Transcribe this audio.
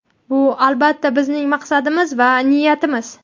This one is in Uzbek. "Bu, albatta, bizning maqsadimiz va niyatimiz".